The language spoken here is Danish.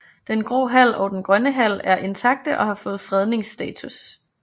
Den Grå Hal og Den Grønne Hal er intakte og har fået fredningsstatus